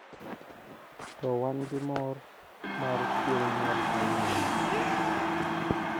to wan gi mor mar chieng nyuol kawuono